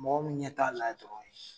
Mɔgɔ mun ɲɛ t'a la yen dɔrɔn